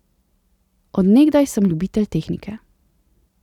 Od nekdaj sem ljubitelj tehnike.